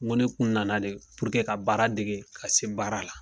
N Ko ne kun nana de puruke ka baara dege ka se baara la